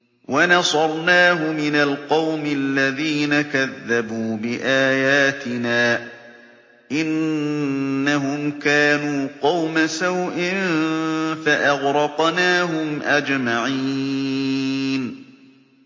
وَنَصَرْنَاهُ مِنَ الْقَوْمِ الَّذِينَ كَذَّبُوا بِآيَاتِنَا ۚ إِنَّهُمْ كَانُوا قَوْمَ سَوْءٍ فَأَغْرَقْنَاهُمْ أَجْمَعِينَ